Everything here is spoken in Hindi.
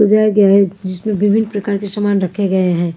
सजाया गया है जिसमें विभिन्न प्रकार के सामान रखे गए हैं।